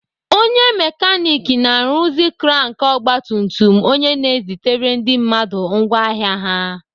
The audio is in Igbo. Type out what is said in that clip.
Onye mekanik na-arụzi krank ọgbatumtum onye na-ezitere ndị mmadụ ngwá ahịa ha.